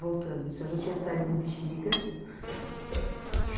Voltando, o senhor já tinha saído do Bexiga?